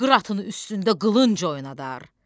Qıratın üstündə qılınc oynadar,